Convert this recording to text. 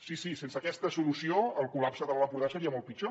sí sí sense aquesta solució el collapse de l’alt empordà seria molt pitjor